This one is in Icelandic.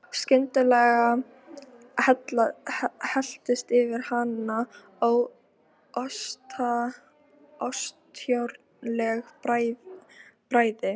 Það vantaði alltaf eitthvað upp á, einhvern herslumun.